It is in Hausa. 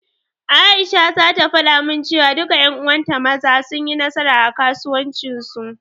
Aisha zata faɗa min cewa, duka ƴan uwanta Maza, sun yi nasara a kasuwancin su.